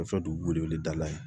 Fɛn fɛn dugukolo dala ye